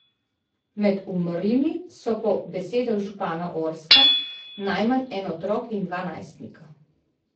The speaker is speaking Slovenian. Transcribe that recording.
Med umrlimi so po besedah župana Orska najmanj en otrok in dva najstnika.